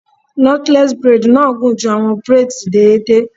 Knotless braid na gun ju awọn braids deede